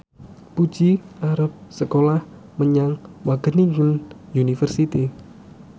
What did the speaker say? Puji arep sekolah menyang Wageningen University